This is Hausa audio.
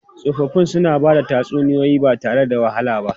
Tsofaffi suna ba da tatsuniyoyi ba tare da wahala ba.